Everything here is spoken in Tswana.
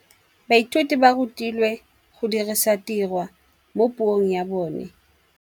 Baithuti ba rutilwe go dirisa tirwa mo puong ya bone.